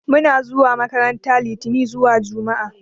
Muna zuwa makaranta litani zuwa juma'a